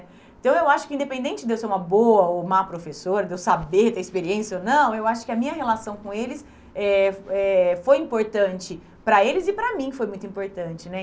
Então, eu acho que independente de eu ser uma boa ou má professora, de eu saber, ter experiência ou não, eu acho que a minha relação com eles eh eh foi importante para eles e para mim foi muito importante, né?